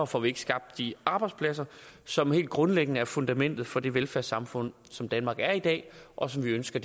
får vi ikke skabt de arbejdspladser som helt grundlæggende er fundamentet for det velfærdssamfund som danmark er i dag og som vi ønsker